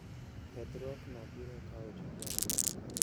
Kethruokno biro kawo jumbe ariyo.